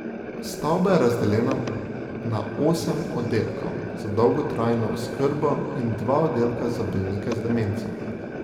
Stavba je razdeljena na osem oddelkov za dolgotrajno oskrbo in dva oddelka za bolnike z demenco.